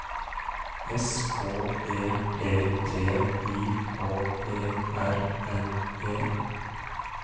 S K E P T I K E R N E